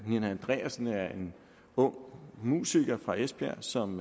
nina andreasen er en ung musiker fra esbjerg som